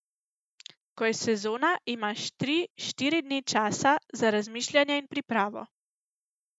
Ko je sezona, imaš tri, štiri dni časa za razmišljanje in pripravo.